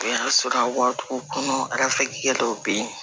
O y'a sɔrɔ a waatogo kɔnɔ dɔw be yen